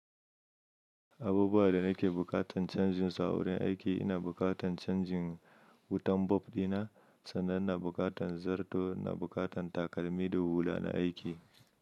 Abubuwa da nake bukatan canjin su a wurin aiki ina bukatan canjin wutan bob dina, sannan na bukatan zarto na bukatan takalmi da hula na aiki.